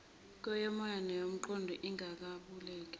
yokomoya neyomqondo ingabalulekile